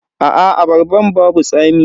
Aa abarban babu tsami.